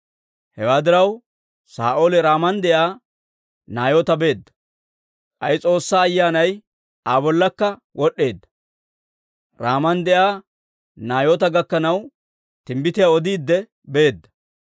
Hewaa diraw, Saa'ooli Raaman de'iyaa Naayoota beedda; k'ay S'oossaa Ayyaanay Aa bollakka wod'd'eedda; Raaman de'iyaa Naayoota gakkanaw, timbbitiyaa odiidde beedda.